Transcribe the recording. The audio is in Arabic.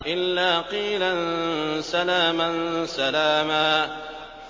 إِلَّا قِيلًا سَلَامًا سَلَامًا